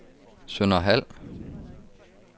Sønderhald